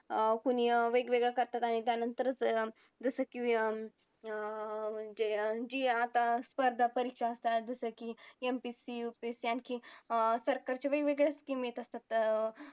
अं कुणी अं वेगवेगळं करतात आणि त्यानंतरच अं जसं की अं आता स्पर्धा परीक्षा असतात जसं की MPSC, UPSC आणखी अं सरकारचे वेगवेगळे scheme येत असतात.